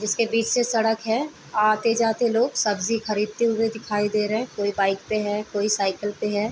जिसके बीच से सड़क है आते-जाते लोग सब्जी खरीदते हुए दिखाई दे रहे हैं। कोई बाइक पे है कोई साइकिल पे है।